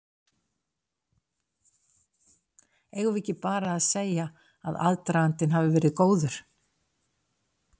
Eigum við ekki bara að segja að aðdragandinn hafi verið góður?